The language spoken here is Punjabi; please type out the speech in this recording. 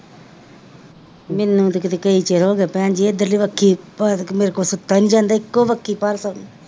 ਮੀਨੂ ਤਾਂ ਕੀਤੇ ਕਈ ਚੀਰ ਹੋ ਗਏ ਭੈਣਜੀ ਇਧਰਲੀ ਬੱਖੀ ਭਰ ਤਾਂ ਮੇਰੇ ਕੋਲ ਸੁੱਤਾਂ ਨੀ ਜਾਂਦਾ ਇੱਕੋ ਬੱਖੀ ਭਾਰ ਸੋਨੀ,